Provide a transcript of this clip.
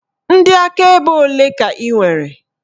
Ndị akaebe olee ka ị nwere?